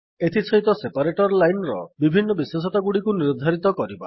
ଏଥିସହିତ separator line ର ବିଭିନ୍ନ ବିଶେଷତାଗୁଡିକୁ ନିର୍ଦ୍ଧାରିତ କରିବା